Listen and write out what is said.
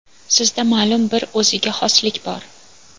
Sizda ma’lum bir o‘ziga xoslik bor.